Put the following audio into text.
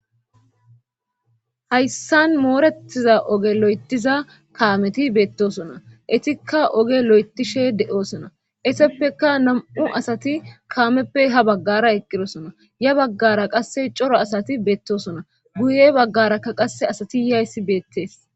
hayssan moorettiza oge lo7etiza kaameti beettosona etikka oge lo7etishe de7oosona eseppeka nam7u asati kaameppe ha baggara eqqirosona ya baggara qasse coro asati beettosona guye baggarakka qasse asati yayssi beettees